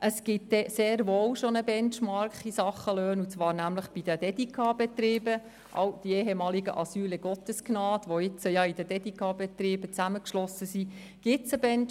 Es gibt sehr wohl schon einen Benchmark für Löhne, und zwar bei den Dedica-Betrieben, den ehemaligen Asylen Gottesgnad, die jetzt mit den Dedica-Betrieben zusammengeschlossen sind.